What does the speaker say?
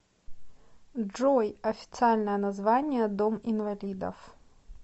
джой официальное название дом инвалидов